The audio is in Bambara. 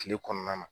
Kile kɔnɔna na